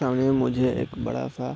सामने में मुझे एक बड़ा सा--